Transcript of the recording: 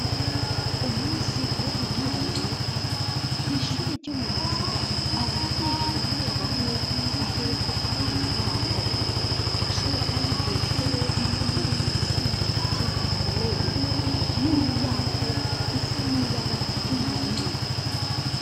Umunsi wo gutora amanota kwishure ryo mu ruziba abavyeyi bamwe bamwe baherekeza abana babo iryo shure kandi ryubatse neza kuko rigifise amabati akomeye n'imiryango isa n'ibara ry'ubururu.